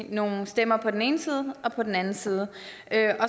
nogle stemmer på den ene side og på den anden side